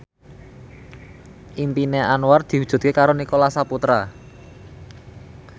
impine Anwar diwujudke karo Nicholas Saputra